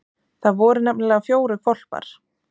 Það voru nefnilega fjórir hvolpar.